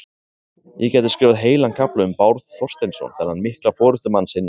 Ég gæti skrifað heilan kafla um Bárð Þorsteinsson, þennan mikla forystumann sinnar sveitar.